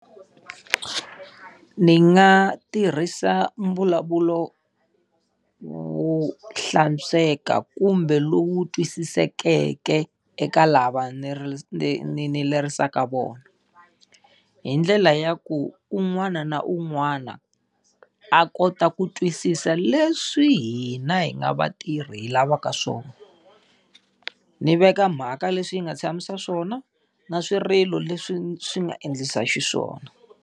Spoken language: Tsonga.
Ni nga tirhisa mbulavulo wo hlantsweka kumbe lowu twisisekeke eka lava ni ni ni ni lerisaka vona. Hi ndlela ya ku un'wana na un'wana a kota ku twisisa leswi hina hi nga vatirhi hi lavaka swona. Ni veka mhaka leswi yi nga tshamisa swona na swirilo leswi swi nga endlisa xiswona.